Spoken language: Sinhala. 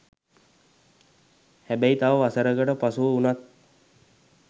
හැබැයි තව වසරකට පසුව වුණත්